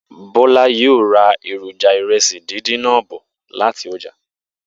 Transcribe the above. Bó̩lá yóò ra èròjà ìre̩sì díndín náà bò̩ láti o̩jà